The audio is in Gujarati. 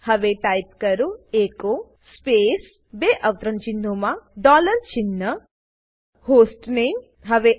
હવે ટાઈપ કરો એચો સ્પેસ બે અવતરણચિહ્નો અંદર ડોલર સાઇન હોસ્ટનેમ અને હવે Enter